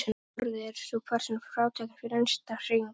Nú orðið er sú persóna frátekin fyrir innsta hring.